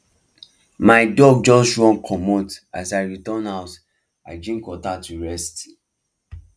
my dog just run commot as i return house i drink water to rest